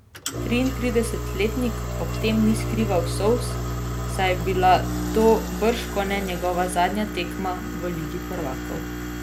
Triintridesetletnik ob tem ni skrival solz, saj je bila to bržkone njegova zadnja tekma v ligi prvakov.